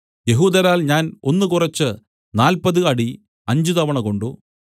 യെഹൂദരാൽ ഞാൻ ഒന്ന് കുറച്ച് നാല്പത് അടി അഞ്ചുതവണ കൊണ്ട്